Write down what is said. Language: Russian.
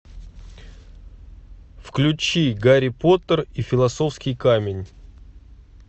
включи гарри поттер и философский камень